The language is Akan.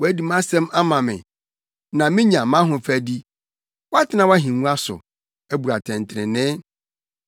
Woadi mʼasɛm ama me, na menya mʼahofadi; woatena wʼahengua so, abu atɛntrenee.